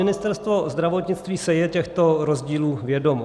Ministerstvo zdravotnictví si je těchto rozdílů vědomo.